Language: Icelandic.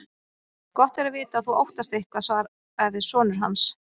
Gott er að vita að þú óttast eitthvað, svaraði sonur hans.